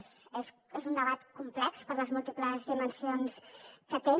és un debat complex per les múltiples dimensions que té